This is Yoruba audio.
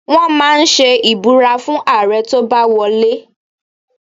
Wọ́n máa ń ṣe ìbúra fún Ààrẹ tó bá wọ lé.